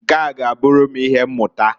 Nkea g'aburu m ihe mmuta.